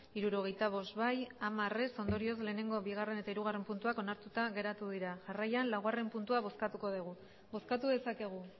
hirurogeita bost bai hamar ez ondorioz lehenengo bigarren eta hirugarren puntuak onartuta geratu dira jarraian laugarren puntua bozkatuko dugu bozkatu dezakegu